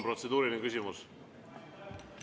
Protseduuriline küsimus.